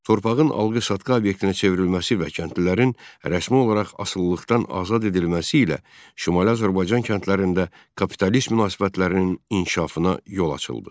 Torpağın alqı-satqı obyektinə çevrilməsi və kəndlilərin rəsmi olaraq asılılıqdan azad edilməsi ilə Şimali Azərbaycan kəndlərində kapitalist münasibətlərinin inkişafına yol açıldı.